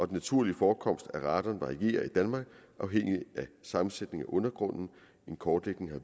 den naturlige forekomst af radon varierer i danmark afhængigt af sammensætningen af undergrunden en kortlægning har